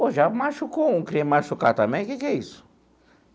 Pô, já machucou um, queria me machucar também, que que é isso?